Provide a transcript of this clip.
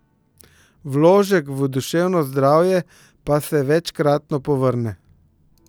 Vložek v duševno zdravje pa se večkratno povrne.